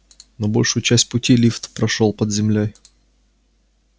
но большую часть пути лифт прошёл под землёй